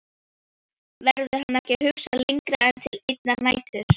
Verður hann ekki að hugsa lengra en til einnar nætur?